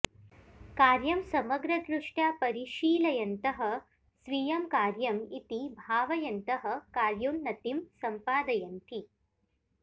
कार्यं समग्रदृष्ट्या परिशीलयन्तः स्वीयं कार्यम् इति भावयन्तः कार्योन्नतिं सम्पादयन्ति